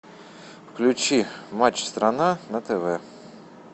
включи матч страна на тв